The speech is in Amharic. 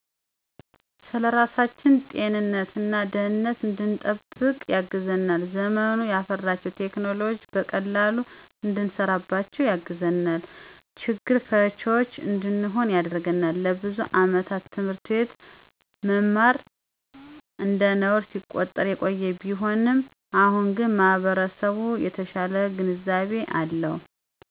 ፩) ስለራሳችን ጤንነት እና ደህነት እንድንጠብቅበት ያግዘናል። ፪) ዘመኑ ያፈራቸውን ቴክኖሎጅዎች በቀላሉ እንሰራባቸው ያግዘናል። ፫) ችግር ፈችዎች እንድንሆን ያደርግናል። ለብዙ አመታት ት/ት መማር እንደነውር ሲቆጠር የቆየ ቢሆንም አሁን ግን ማህበረሰቡ የተሻለ ግንዛቤ አለው።